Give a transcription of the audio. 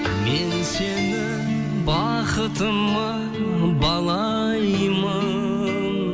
мен сені бақытыма балаймын